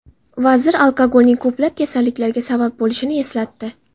Vazir alkogolning ko‘plab kasalliklarga sabab bo‘lishini eslatdi.